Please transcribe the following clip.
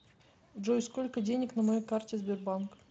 джой сколько денег на моей карте сбербанк